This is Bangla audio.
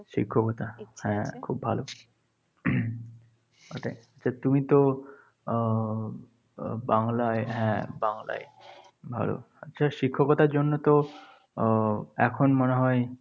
শিক্ষকতা? হ্যাঁ, খুব ভালো। ওটাই। তা তুমিতে আহ বাংলায় হ্যাঁ বাংলায় ভালো, আচ্ছা শিক্ষকতার জন্যতো উহ এখন মনে হয়